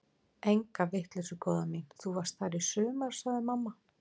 Enga vitleysu góða mín, þú varst þar í sumar sagði mamma.